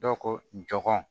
Dɔ ko jɔnko